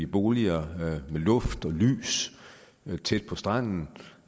boliger med luft og lys tæt på stranden